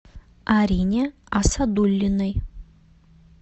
арине асадуллиной